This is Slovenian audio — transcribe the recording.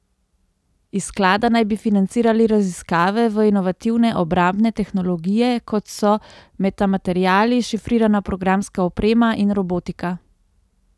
Iz sklada naj bi financirali raziskave v inovativne obrambne tehnologije, kot so metamateriali, šifrirana programska oprema in robotika.